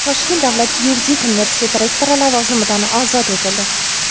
Toshkent davlat yuridik universiteti rektori lavozimidan ozod etildi.